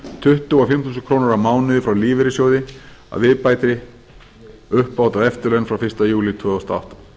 tuttugu og fimm þúsund krónur á mánuði frá lífeyrissjóði að viðbættri uppbót á eftirlaun frá fyrsta júlí tvö þúsund og átta